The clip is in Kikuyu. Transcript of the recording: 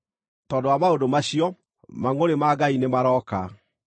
Tondũ wa maũndũ macio, mangʼũrĩ ma Ngai nĩmarooka.